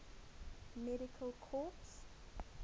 medical corps